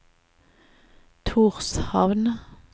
Tórshavn